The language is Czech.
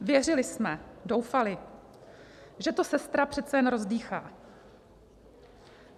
Věřili jsme, doufali, že to sestra přece jen rozdýchá.